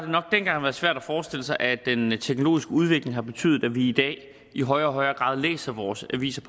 nok dengang været svært at forestille sig at den teknologiske udvikling at betyde at vi i dag i højere og højere grad læser vores avis